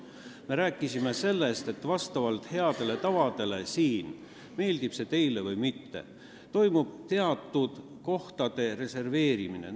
Me oleme rääkinud sellest, et heade tavade kohaselt, meeldib see teile või mitte, toimub siin teatud kohtade reserveerimine.